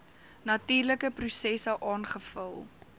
natuurlike prosesse aangevul